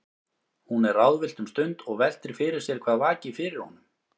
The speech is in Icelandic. Hún er ráðvillt um stund og veltir fyrir sér hvað vaki fyrir honum.